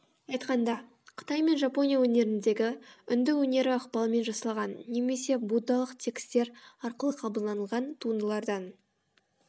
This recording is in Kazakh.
айтқанда қытай мен жапония өнеріндегі үнді өнері ықпалымен жасалған немесе буддалық текстер арқылы қабылданылған туындылардан